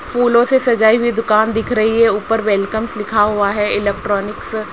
फूलों से सजाई हुई दुकान दिख रही है ऊपर वेलकम्स लिखा हुआ है इलेक्ट्रॉनिक्स --